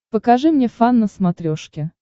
покажи мне фан на смотрешке